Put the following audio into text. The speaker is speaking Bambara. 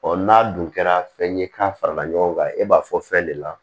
n'a dun kɛra fɛn ye k'a farala ɲɔgɔn kan e b'a fɔ fɛn de la